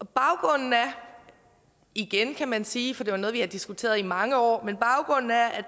baggrunden er igen kan man sige for det er jo noget vi har diskuteret i mange år